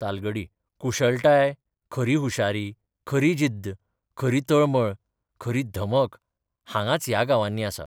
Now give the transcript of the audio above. तालगडी कुशळटाय, खरी हुशारी, खरी जिद्द, खरी तळमळ, खरी धमक हांगांच ह्या गांवांनी आसा.